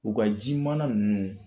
U ka ji mana munu